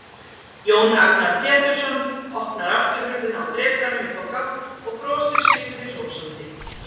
Jón Agnar Pétursson opnar afturhurðina á drekanum upp á gátt og brosir sigri hrósandi.